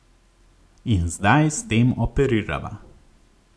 In zdaj s tem operirava.